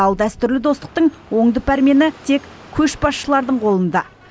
ал дәстүрлі достықтың оңды пәрмені тек көшбасшылардың қолында